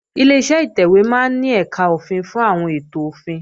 Ileṣẹ́ ìtẹ̀wé máa ń ní ẹ̀kà òfin fún àwọn ètò òfin